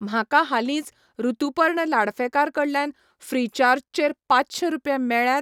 म्हाका हालींच ऋतुपर्ण लाडफेकार कडल्यान ऴ्रीचार्जचेर पाचशें रुपया मेळ्ळ्यात?